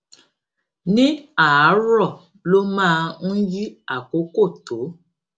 ní àárọ ló máa n yí àkókò tó